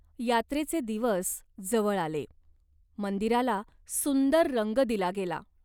यात्रेचे दिवस जवळ आले. मंदिराला सुंदर रंग दिला गेला.